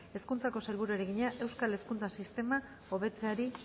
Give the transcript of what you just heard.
hezkuntzako sailburuari egina euskal hezkuntza sistema hobetzeari